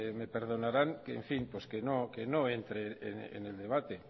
me perdonarán que en fin que no entre en el debate